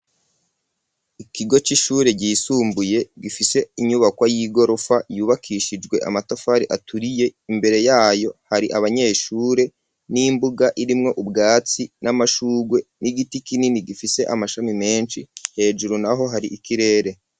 Ikigo c'ishure ryisumbuye gifise inyubakwa y'igorofa yubakishijwe amatafari aturiye, imbere yayo hari abanyeshure n'imbuga irimwo ubwatsi n'amashurwe n'igiti kinini gifise amashami menshi, hejuru naho hari ikirere.